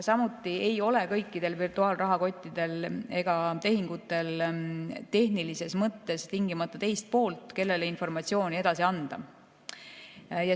Samuti ei ole kõikidel virtuaalrahakottidel ega ‑tehingutel tehnilises mõttes tingimata teist poolt, kellele informatsiooni edasi anda.